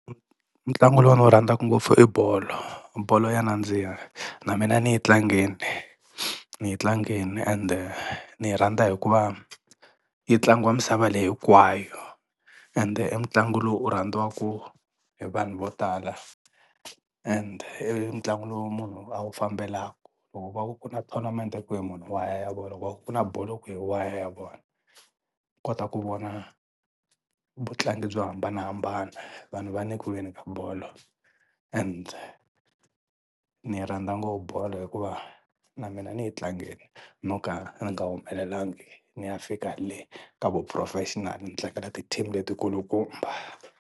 Ntlangu lowu ni wu rhandzaka ngopfu i bolo, bolo ya nandziha na mina ni yi tlangini ni yi tlangini ende ni yi rhandza hikuva yi tlangiwa misava leyi hinkwayo ende i ntlangu lowu wu rhandziwaka hi vanhu vo tala and i ntlangu lowu munhu a wu fambelaka loko va ku ku na tournament kwini munhu wa ya a ya vona loko va ku ku na bolo kwini munhu wa ya ya vona. Kota ku vona vutlangi byo hambanahambana vanhu va nyikiwile ka bolo and ni yi rhandza ngopfu bolo hikuva na mina ni yi tlangini no ka ni nga humelelangi ni ya fika le ka vuphurofexinali ni tlangela ti-team letikulu kumba.